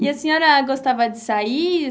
E a senhora gostava de sair?